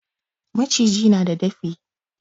Maciji na da dafi.